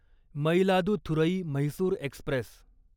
Mayiladuthurai Mysore Express